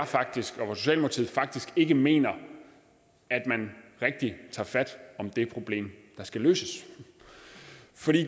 faktisk ikke mener at man rigtig tager fat om det problem der skal løses